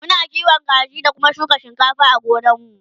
Muna kiwon kaji da Kuma shuka shinkafa a gonar mu